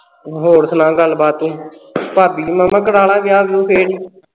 ਹੋਰ ਸੁਣਾ ਗੱਲਬਾਤ ਤੂੰ ਭਾਬੀ ਦੀ ਮਾਮਾ ਕਰਵਾ ਲੈ ਵਿਆਹ ਵਿਅੂ ਫੇਰ ਵੀ